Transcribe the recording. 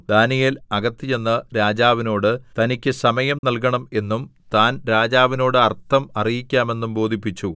ദാനീയേൽ അകത്ത് ചെന്ന് രാജാവിനോട് തനിക്കു സമയം നൽകണം എന്നും താൻ രാജാവിനോട് അർത്ഥം അറിയിക്കാമെന്നും ബോധിപ്പിച്ചു